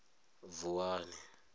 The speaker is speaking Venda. vuwani